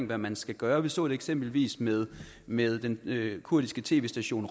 hvad man skal gøre vi så det eksempelvis med med den kurdiske tv station